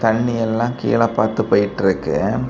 தண்ணி எல்லா கீழ பார்த்து போயிட்டு இருக்கு.